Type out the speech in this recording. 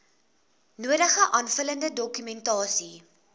nodige aanvullende dokumentasie